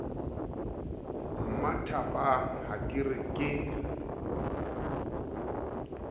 mmathabang ha ke re ke